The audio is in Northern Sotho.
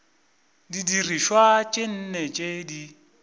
didirišwa tše nne tše di